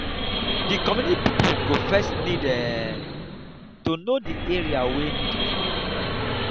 di community pipo go first need um to know di area wey need cleaning